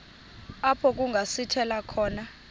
apho kungasithela khona